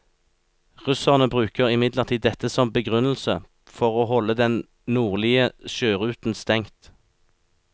Russerne bruker imidlertid dette som begrunnelse for å holde den nordlige sjøruten stengt.